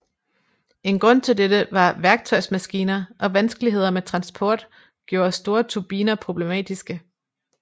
En grund til dette var værktøjmaskiner og vanskeligheder med transport gjorde store turbiner problematiske